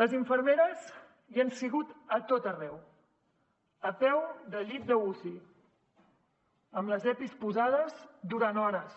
les infermeres hi han sigut a tot arreu a peu de llit d’uci amb les epis posades durant hores